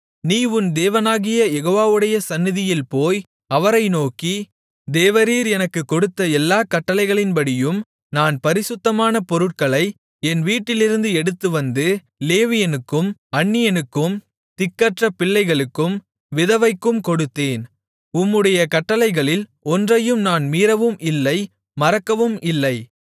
நீ உன் தேவனாகிய யெகோவாவுடைய சந்நிதியில் போய் அவரை நோக்கி தேவரீர் எனக்குக் கொடுத்த எல்லாக் கட்டளைகளின்படியும் நான் பரிசுத்தமான பொருட்களை என் வீட்டிலிருந்து எடுத்துவந்து லேவியனுக்கும் அந்நியனுக்கும் திக்கற்ற பிள்ளைக்கும் விதவைக்கும் கொடுத்தேன் உம்முடைய கட்டளைகளில் ஒன்றையும் நான் மீறவும் இல்லை மறக்கவும் இல்லை